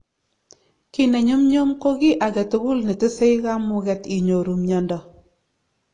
ki nenyumnyum ko ki agetukul ne tesee kamugeet inyoru miando